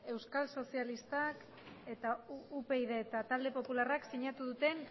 euskal sozialistak eta upyd eta talde popularrak sinatu duten